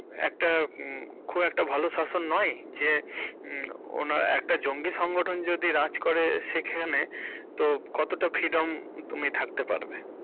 একটা খুব একটা ভালো শাসন নয় যে ওনার একটা জঙ্গি সংগঠন যদি রাজ্ করে সেখানে তো কতটা freedom তুমি থাকতে পারবে?